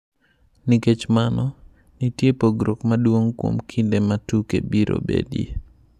Nikech mano, nitie pogruok maduong ' kuom kinde ma tuke biro betie.